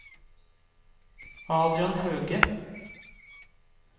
Adrian Hauge